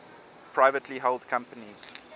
privately held companies